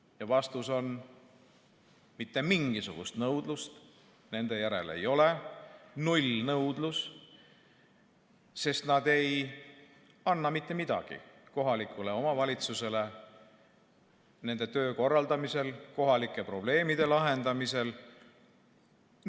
Ja vastus on: mitte mingisugust nõudlust nende järele ei ole, on nullnõudlus, sest nad ei anna mitte midagi juurde kohalikule omavalitsusele nende töö korraldamisel, kohalike probleemide lahendamisel.